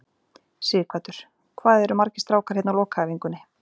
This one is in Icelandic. Sighvatur: Hvað eru margir strákar hérna á lokaæfingunni?